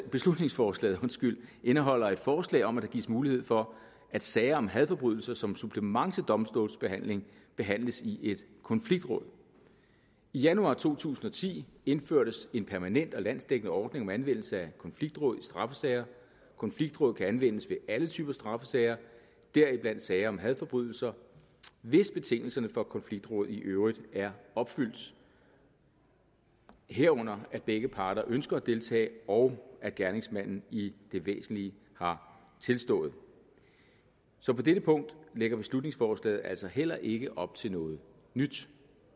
beslutningsforslaget indeholder et forslag om at der gives mulighed for at sager om hadforbrydelser som supplement til domstolsbehandling behandles i et konfliktråd i januar to tusind og ti indførtes en permanent og landsdækkende ordning om anvendelse af konfliktråd i straffesager konfliktråd kan anvendes ved alle typer straffesager deriblandt sager om hadforbrydelser hvis betingelserne for konfliktråd i øvrigt er opfyldt herunder at begge parter ønsker at deltage og at gerningsmanden i det væsentlige har tilstået så på dette punkt lægger beslutningsforslaget altså heller ikke op til noget nyt